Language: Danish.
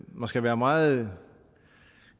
man skal være meget